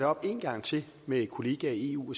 op en gang til med kollegaerne i eu